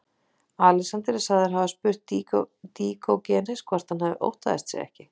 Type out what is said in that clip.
Alexander er sagður hafa spurt Díógenes hvort hann óttaðist sig ekki.